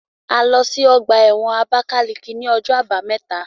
A lọ sí ọgbà ẹ̀wọ̀n Abákáleke ní ọjọ́ àbámẹ́ta